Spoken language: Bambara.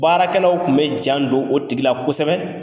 Baarakɛlaw tun bɛ jan don o tigila kosɛbɛ.